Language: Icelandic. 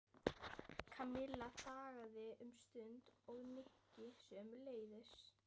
Kamilla þagði um stund og Nikki sömuleiðis.